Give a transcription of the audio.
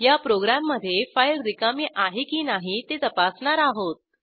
या प्रोग्रॅममधे फाईल रिकामी आहे की नाही ते तपासणार आहोत